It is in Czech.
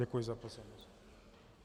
Děkuji za pozornost.